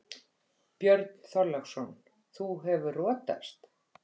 Björn Þorláksson: Þú hefur rotast?